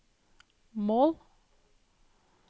mål